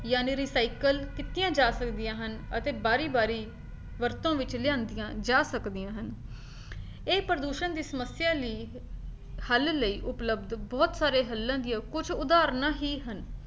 ਜਾਣੀ recycle ਕੀਤੀਆਂ ਜਾ ਸਕਦੀਆਂ ਹਨ ਅਤੇ ਬਾਰੀ-ਬਾਰੀ ਵਰਤੋਂ ਵਿੱਚ ਲਿਆਂਦੀਆਂ ਜਾ ਸਕਦੀਆਂ ਹਨ ਇਹ ਪ੍ਰਦੂਸ਼ਣ ਦੀ ਸਮੱਸਿਆ ਲਈ ਹੱਲ ਲਈ ਉਪਲੱਬਧ ਬਹੁਤ ਸਾਰੇ ਹੱਲਾਂ ਦੀਆਂ ਕੁੱਝ ਉਦਾਹਰਨਾਂ ਹੀ ਹਨ